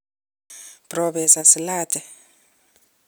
Propesa Slater